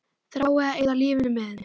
Þrái að eyða lífinu með henni.